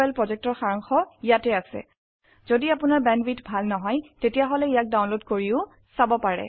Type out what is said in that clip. spoken tutorial প্ৰকল্পৰ সাৰাংশ ইয়াত আছে যদি আপোনাৰ বেণ্ডৱিডথ ভাল নহয় তেনেহলে ইয়াক ডাউনলোড কৰিও চাব পাৰে